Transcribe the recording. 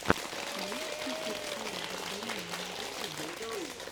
можешь включить саро варданяна на ютюбе